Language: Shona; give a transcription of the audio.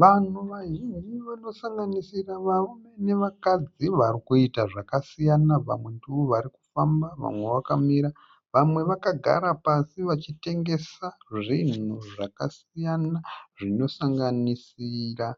Vanhu vazhinji vanosanganisira varume nevakadzi varikuita zvakasiyana. Vamwe ndovarikufamba vamwe vakamira. Vamwe vakagara pasi vachitengesa zvinhu zvakasiyana zvinosanganisira